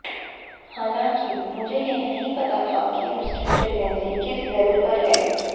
हालांकि मुझे यह नहीं पता था कि उसकी प्रेगनेंसी किस लेवल पर है